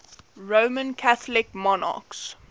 roman catholic monarchs